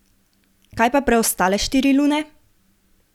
Kaj pa preostale štiri lune?